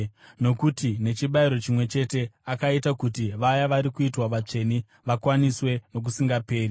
nokuti nechibayiro chimwe chete akaita kuti vaya vari kuitwa vatsvene vakwaniswe nokusingaperi.